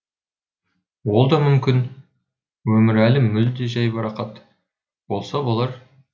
ол да мүмкін өмірәлі мүлде жайбарақат болса болар